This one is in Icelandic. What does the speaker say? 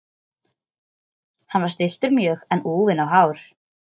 Hann var stilltur mjög en úfinn á hár.